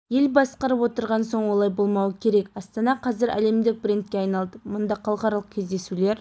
ел басқарып отырған соң олай болмауы керек астана қазір әлемдік брендке айналды мұнда халықаралық кездесулер